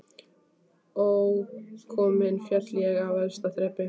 Ókominn féll ég af efsta þrepi